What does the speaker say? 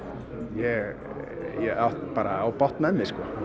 ég á bágt með mig